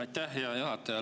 Aitäh, hea juhataja!